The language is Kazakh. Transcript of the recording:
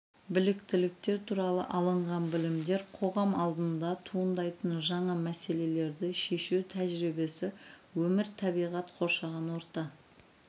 біліктіліктер туралы алынған білімдері қоғам алдында туындайтын жаңа мәселелерді шешу тәжірибесі өмір табиғат қоршаған орта